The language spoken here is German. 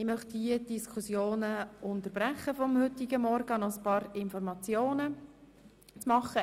Ich möchte die Diskussion hier unterbrechen und Ihnen noch ein paar Informationen übermitteln.